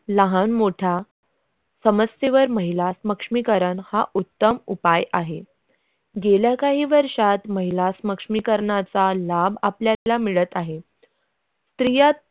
लागण मोठा समस्येवर महिला सक्षमीकरण हा उत्तम उपाय आहे गेल्या काही वर्षात महिला सक्षमीकरणाचा लाभ आप आपल्याला मिळत आहे.